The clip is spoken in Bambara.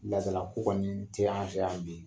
Ladala ko kɔni ti an fɛ yan bi.